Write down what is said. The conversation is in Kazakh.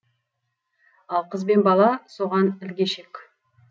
ал қыз бен бала соған ілгешек